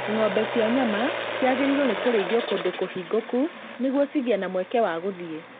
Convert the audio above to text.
Ng'ombe cia nyama cĩagĩrĩirwo nĩkũrĩithĩrio kũndũ kũhingũku nĩguo cigĩe na mweke wa gũthiĩ